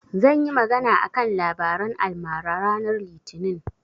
Zan yi magana a kan labaran almara ranar litinin.